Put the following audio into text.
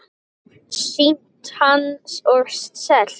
Sýnt hann og selt inn.